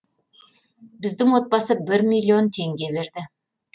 біздің отбасы бір миллион теңге берді